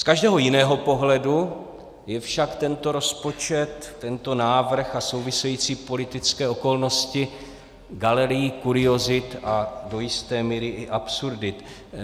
Z každého jiného pohledu je však tento rozpočet, tento návrh a související politické okolnosti galérií kuriozit a do jisté míry i absurdit.